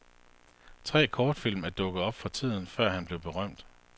Tre kortfilm er dukket op fra tiden før han blev berømt.